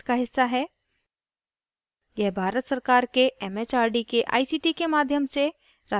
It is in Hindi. यह भारत सरकार के it it आर डी के आई सी टी के माध्यम से राष्ट्रीय साक्षरता mission द्वारा समर्थित है